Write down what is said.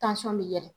bɛ yɛlɛ